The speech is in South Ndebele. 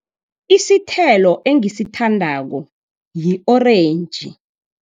Isithelo engisithandako yi-orentji.